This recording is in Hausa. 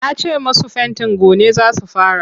Ta ce masu fentin gone za su fara.